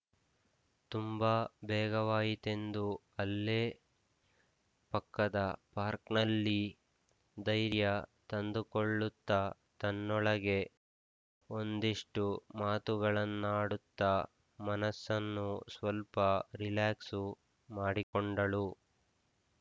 ತುಂಬ ಬೇಗವಾಯಿತೆಂದು ಅಲ್ಲೇ ಪಕ್ಕದ ಪಾರ್ಕ್ನಲ್ಲಿ ಧೈರ್ಯ ತಂದುಕೊಳ್ಳುತ್ತ ತನ್ನೊಳಗೆ ಒಂದಿಷ್ಟುಮಾತುಗಳನ್ನಾಡುತ್ತ ಮನಸ್ಸನ್ನು ಸ್ವಲ್ಪ ರಿಲ್ಯಾಕ್ಸು ಮಾಡಿಕೊಂಡಳು